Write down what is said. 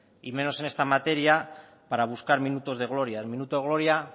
y menos en esta materia para buscar minutos de gloria el minuto de gloria